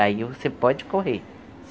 Aí você pode correr.